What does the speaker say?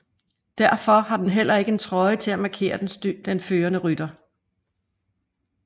Derfor har den heller ikke en trøje til at markere den førende rytter